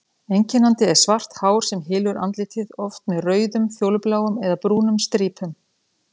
Einkennandi er svart hár sem hylur andlitið, oft með rauðum, fjólubláum eða brúnum strípum.